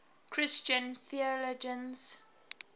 christian theologians